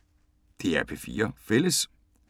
DR P4 Fælles